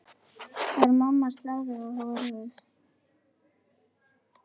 Var mamma sáluga horuð?